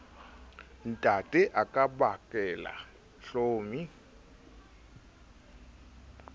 ntatae a ka bakela hlomi